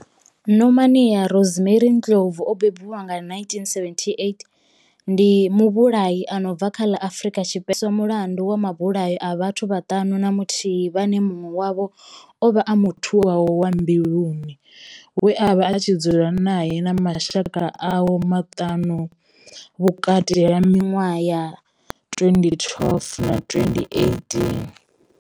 Nomia Rosemary Ndlovu o bebiwaho nga, 1978 ndi muvhulahi a no bva kha ḽa Afurika Tshipembe we a hweswa mulandu wa mabulayo a vhathu vhaṱanu na muthihi vhane munwe wavho ovha a muthu wawe wa mbiluni we avha a tshi dzula nae na mashaka awe maṱanu vhukati ha minwaha ya 2012 na 2018.